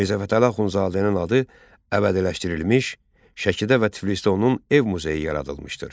Mirzə Fətəli Axundzadənin adı əbədiləşdirilmiş, Şəkidə və Tiflisdə onun ev muzeyi yaradılmışdır.